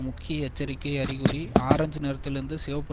முக்கிய எச்சரிக்கை அறிகுறி ஆரஞ்ச் நிறத்திலிருந்து சிவப்பு